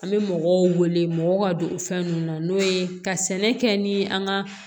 An bɛ mɔgɔw wele mɔgɔw ka don fɛn ninnu na n'o ye ka sɛnɛ kɛ ni an ka